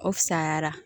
O fisayara